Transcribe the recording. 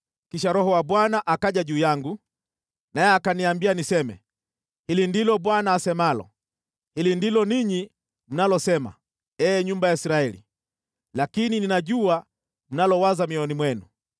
Kisha Roho wa Bwana akaja juu yangu, naye akaniambia niseme: “Hili ndilo Bwana asemalo: Hili ndilo ninyi mnalosema, ee nyumba ya Israeli, lakini ninajua mnalowaza mioyoni mwenu.